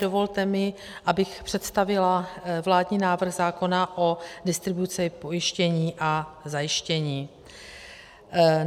Dovolte mi, abych představila vládní návrh zákona o distribuci pojištění a zajištění.